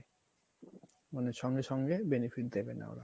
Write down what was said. মানে সঙ্গে সঙ্গে benefit দেবে না ওরা